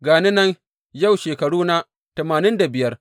Ga ni nan yau shekaruna tamanin da biyar!